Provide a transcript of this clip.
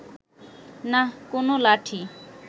নাহ, কোনো লাঠি